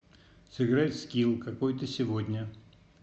сыграть в скилл какой ты сегодня